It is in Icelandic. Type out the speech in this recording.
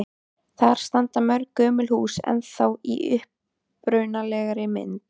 Þar standa mörg gömul hús ennþá í upprunalegri mynd.